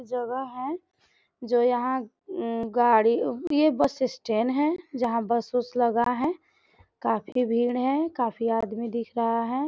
जगह है जो यहां गाड़ी बस स्टैंड है जहां बस -वस लगा है काफी भीड़ हैं काफी आदमी दिख रहा है।